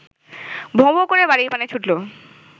ভোঁ-ভোঁ করে বাড়ির পানে ছুটল